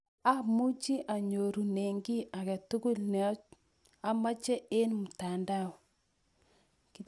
"Amuchi anyorune kiy age tugul ne amache eng mtandao